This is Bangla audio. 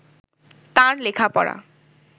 তাঁর লেখাপড়া